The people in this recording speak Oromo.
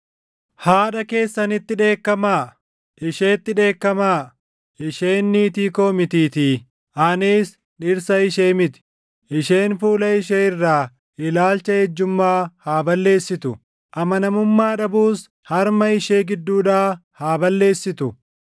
“Haadha keessanitti dheekkamaa; isheetti dheekkamaa; isheen niitii koo mitiitii; anis dhirsa ishee miti. Isheen fuula ishee irraa ilaalcha ejjummaa haa balleessitu; amanamummaa dhabuus harma ishee gidduudhaa haa balleessitu.